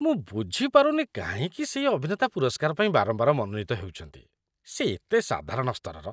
ମୁଁ ବୁଝିପାରୁନି କାହିଁକି ସେହି ଅଭିନେତା ପୁରସ୍କାର ପାଇଁ ବାରମ୍ବାର ମନୋନୀତ ହେଉଛନ୍ତି। ସେ ଏତେ ସାଧାରଣ ସ୍ତରର।